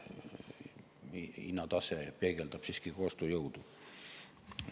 Hinnatase peegeldab ostujõudu.